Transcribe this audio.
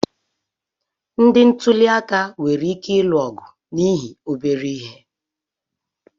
Ndị ntuliaka nwere ike ịlụ ọgụ n'ihi obere ihe.